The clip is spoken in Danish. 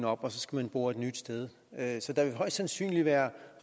op og så skal man bore et nyt sted så der vil højst sandsynligt være